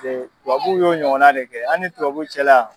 tubabuw y'o ɲɔgɔn de kɛ an ni tubabuw cɛla.